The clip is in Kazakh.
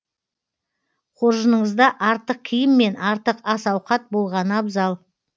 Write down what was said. қоржыныңызда артық киім мен артық ас ауқат болғаны абзал